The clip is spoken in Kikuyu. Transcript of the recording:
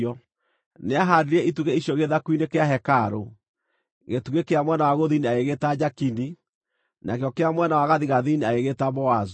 Nĩahaandire itugĩ icio gĩthaku-inĩ kĩa hekarũ. Gĩtugĩ kĩa mwena wa gũthini agĩgĩĩta Jakini, nakĩo kĩa mwena wa gathigathini agĩgĩĩta Boazu.